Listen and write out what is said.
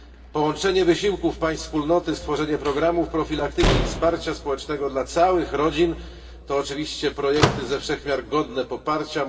Połączenie wysiłków państw Wspólnoty, stworzenie programów profilaktyki i wsparcia społecznego dla całych rodzin to oczywiście projekty ze wszech miar godne poparcia.